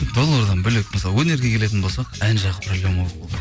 доллардан бөлек мысалға өнерге келетін болсақ ән жағы проблема ғой